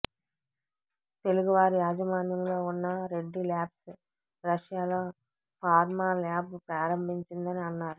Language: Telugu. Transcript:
తెలుగువారి యాజమాన్యంలో వున్న రెడ్డి ల్యాబ్స్ రష్యాలో ఫార్మా ల్యాబ్ ప్రారంభించిందని అన్నారు